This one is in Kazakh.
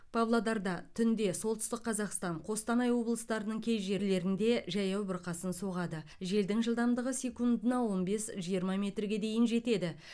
павлодарда түнде солтүстік қазақстан қостанай облыстарының кей жерлерінде жаяу бұрқасын соғады желдің жылдамдығы секундына он бес жиырма метрге дейін жетеді